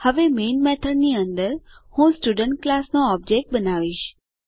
હવે main method ની અંદર હું સ્ટુડન્ટ ક્લાસ નો ઓબજેક્ટ બનાવીશ